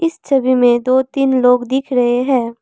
इस छवि में दो तीन लोग दिख रहे हैं।